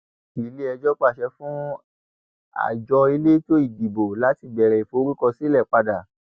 iléẹjọ pàṣẹ fún àjọ elétò ìdìbò láti bẹrẹ ìforúkọsílẹ padà